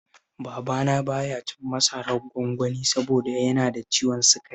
Babana ba ya cin masarar gwangwani saboda yana da ciwon sukari